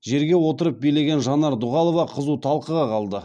жерге отырып билеген жанар дұғалова қызу талқыға қалды